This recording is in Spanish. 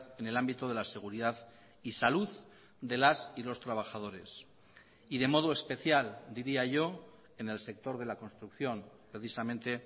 en el ámbito de la seguridad y salud de las y los trabajadores y de modo especial diría yo en el sector de la construcción precisamente